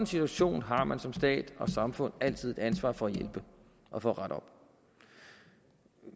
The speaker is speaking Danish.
situation har man som stat og samfund altid et ansvar for at hjælpe og for at rette op